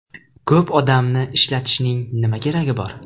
Ko‘p odamni ishlatishning nima keragi bor?